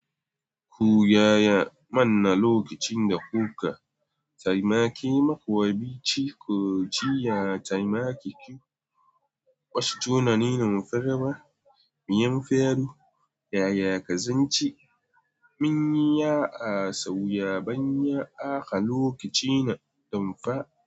Ku gaya mana lokacinda ku ka taimaki makwabci ko ci ya taimake ku kwashe tunani na mufarma. Miyan faru, yaya ka zanci mun yi ya asauya ban ya aka lokaci na damfa.